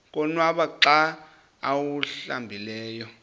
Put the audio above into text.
konwaba xa awuhlambileyo